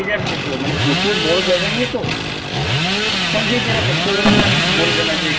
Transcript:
যে যার মত মানে প্রচুর বড় জায়গা নিয়ে তো হ্যাঁ যে যেরকম কেউ হয়ত কিছু বলবেনা যে